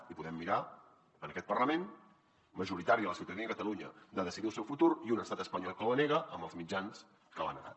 i podem mirar en aquest parlament majoritària la ciutadania de catalunya de decidir el seu futur i un estat espanyol que la nega amb els mitjans que l’ha negat